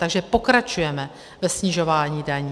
Takže pokračujeme ve snižování daní.